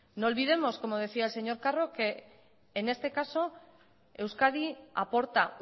no olvidemos como decía el señor carro que en este caso euskadi aporta